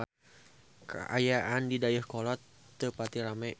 Kaayaan di Dayeuhkolot teu pati rame